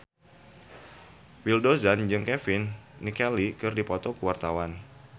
Willy Dozan jeung Kevin McNally keur dipoto ku wartawan